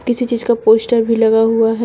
किसी चीज का पोस्टर भी लगा हुआ है।